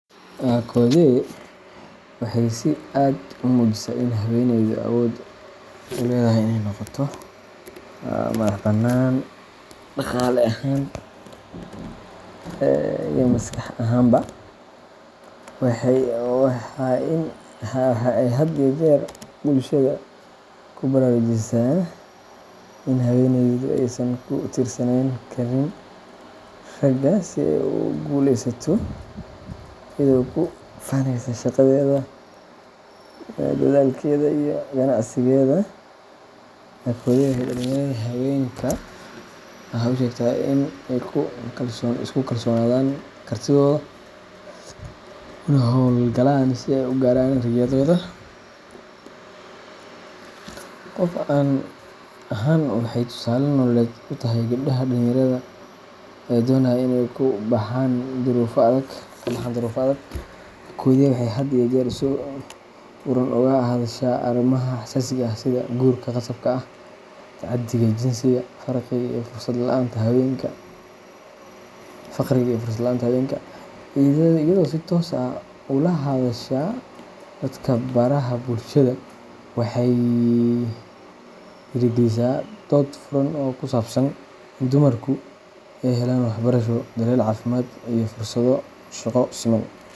Akothee waxay si cad u muujisaa in haweeneydu awood u leedahay inay noqoto madax-bannaan, dhaqaale ahaan iyo maskax ahaanba. Waxaa ay had iyo jeer bulshada ku baraarujisaa in haweeneydu aysan ku tiirsanaan karin ragga si ay u guulaysato. Iyadoo ku faanaysa shaqadeeda, dadaalkeeda, iyo ganacsigeeda, Akothee waxay dhalinyarada haweenka ah u sheegtaa in ay ku kalsoonaadaan kartidooda, una hawlgalaan si ay u gaaraan riyadooda. Qof ahaan waxay tusaale nololeed u tahay gabdhaha dhalinyarada ah oo doonaya inay ka baxaan duruufo adag. Akothee waxay had iyo jeer si furan uga hadashaa arrimaha xasaasiga ah sida guurka qasabka ah, tacaddiga jinsiga, faqriga, iyo fursad la’aanta haweenka. Iyadoo si toos ah ula hadasha dadka baraha bulshada, waxay dhiirrigelisaa dood furan oo kusaabsan in dumarku ay helaan waxbarasho, daryeel caafimaad, iyo fursado shaqo oo siman.